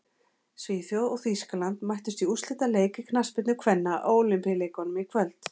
Svíþjóð og Þýskaland mættust í úrslitaleik í knattspyrnu kvenna á Ólympíuleikunum í kvöld.